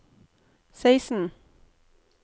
seksten